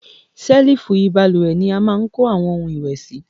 Selifu ibalúwẹ́ ní a máa ń kò awọn ohun ìwé síi